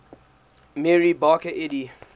mary baker eddy